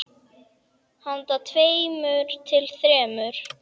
Handa tveimur til þremur